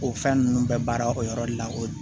O fɛn ninnu bɛɛ baara o yɔrɔ de la o